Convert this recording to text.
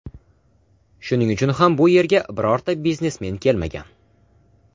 Shuning uchun ham bu yerga birorta biznesmen kelmagan.